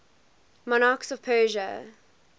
monarchs of persia